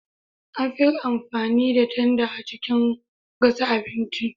An fi amfani da tanda a cikin gasa abinci.